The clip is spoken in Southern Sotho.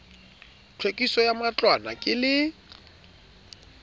tlhwekiso ya matlwana ke le